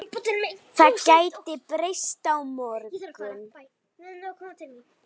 Rúin trausti í annað sinn.